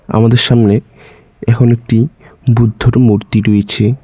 আমাদের সামনে এখন একটি বুদ্ধর মূর্তি রয়েছে।